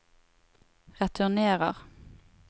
returnerer